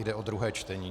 Jde o druhé čtení.